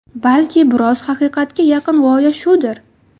Balki biroz haqiqatga yaqin g‘oya shudir?